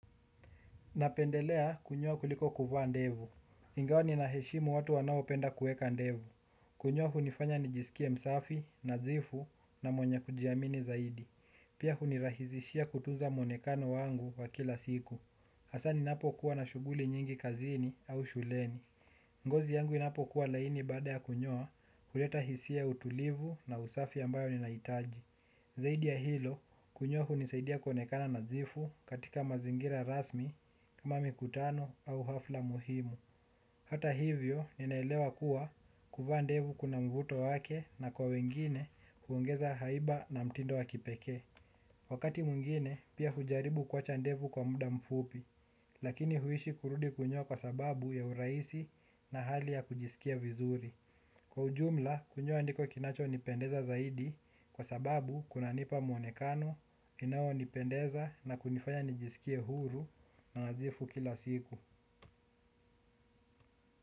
Napendelea kunyoa kuliko kuvaa ndevu. Ingawa ninaheshimu watu wanao penda kueka ndevu. Kunyoa hunifanya nijisikie msafi, nadhifu na mwenye kujiamini zaidi. Pia huni rahisishia kutunza monekano wangu wa kila siku. Hasa ninapo kuwa na shughuli nyingi kazini au shuleni. Ngozi yangu inapo kuwa laini bada ya kunyoa huleta hisia ya utulivu na usafi ambayo ninaitaji. Zaidi ya hilo, kunyoa hunisaidia konekana nadhifu katika mazingira rasmi kama mikutano au hafla muhimu. Hata hivyo, ninaelewa kuwa kuvaa ndevu kuna mvuto wake na kwa wengine huongeza haiba na mtindo wa kipeke. Wakati mwingine, pia hujaribu kuacha ndevu kwa muda mfupi, lakini huishi kurudi kunyoa kwa sababu ya urahisi na hali ya kujisikia vizuri. Kwa ujumla, kunyoa ndiko kinacho nipendeza zaidi kwa sababu kuna nipa mwonekano inao nipendeza na kunifanya nijisikie huru na nadhifu kila siku.